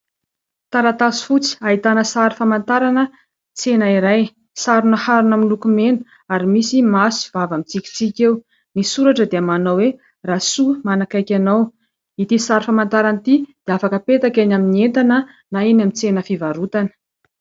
Taratasy fotsy ahitana sary famantarana tsena iray. Sarina harona miloko mena ary misy maso sy vava mitsikitsiky eo. Ny soratra dia manao hoe : Rasoa, manakaiky anao. Itỳ sary famantarana itỳ dia afaka apetaka eny amin'ny entana na eny amin'ny tsena fivarotana.